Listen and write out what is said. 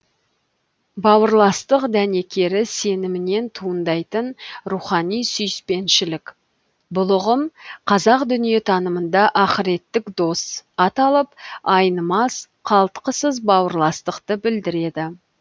бауырластық дәнекері сенімінен туындайтын рухани сүйіспеншілік бұл ұғым қазақ дүниетанымында ақыреттік дос аталып айнымас қалтқысыз бауырластықты білдіреді